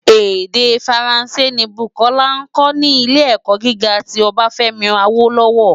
Èdè Fáránsé ni Bukola nkò ni Ilé-èkò gigá ti Obafemi Awolowo.